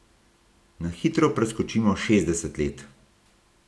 Na hitro preskočimo šestdeset let!